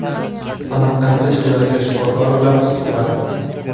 Samarqandda ishlayotgan shifokor bilan suhbat.